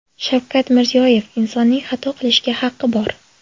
Shavkat Mirziyoyev: Insonning xato qilishga haqi bor .